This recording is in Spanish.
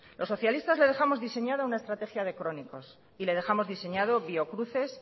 los socialistas les dejamos diseñada una estrategia de crónicos y le dejamos diseñado biocruces